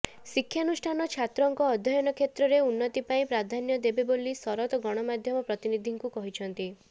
ଶିକ୍ଷାନୁଷ୍ଠାନ ଛାତ୍ରଙ୍କ ଅଧ୍ୟୟନ କ୍ଷେତ୍ରରେ ଉନ୍ନତି ପାଇଁ ପ୍ରାଧାନ୍ୟ ଦେବେ ବୋଲି ଶରତ ଗଣମାଧ୍ୟମ ପ୍ରତିନିଧିଙ୍କୁ କହିଛନ୍ତି